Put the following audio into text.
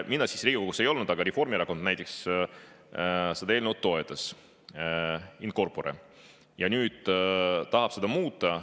Mina siis Riigikogus ei olnud, aga Reformierakond toetas seda eelnõu in corpore ja nüüd tahab seda muuta.